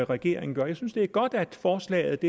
regeringen gør jeg synes det er godt at forslaget